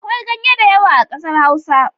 Akwai ganye da yawa a kasar hausa.